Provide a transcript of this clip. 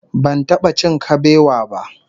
Ban taba cin kabewa ba